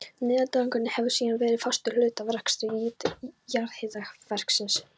Niðurdæling hefur síðan verið fastur hluti af rekstri jarðhitakerfisins.